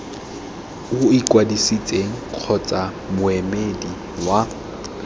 o ikwadisitseng kgotsa moemedi wa